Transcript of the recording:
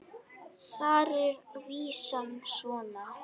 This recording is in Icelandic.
Þar er vísan svona